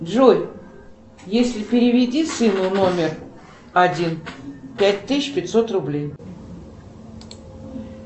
джой если переведи сыну номер один пять тысяч пятьсот рублей